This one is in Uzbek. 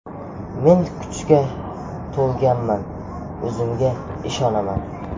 Men kuchaga to‘lganman, o‘zimga ishonaman.